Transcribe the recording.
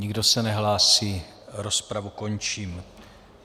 Nikdo se nehlásí, rozpravu končím.